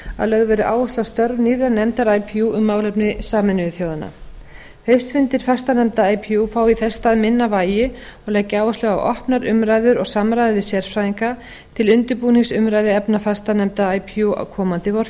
að lögð verði áhersla á störf nýrrar nefndar ipu um málefni sameinuðu þjóðanna haustfundir fastanefnda ipu fá í þess stað minna vægi og leggja áherslu á opnar umræður og samræði við sérfræðinga til undirbúnings umræðuefna fastanefnda ipu á komandi